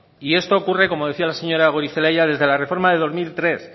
y esto ocurre como decía la señora goirizelaia desde la reforma del dos mil tres